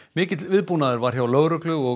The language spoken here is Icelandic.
mikill viðbúnaður var hjá lögreglu og